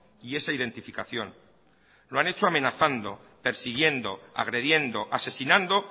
y esa identificación lo han hecho amenazando persiguiendo agrediendo asesinando